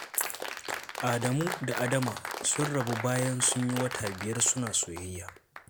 Adamu da Adama sun rabu bayan sun yi wata biyar suna soyayya.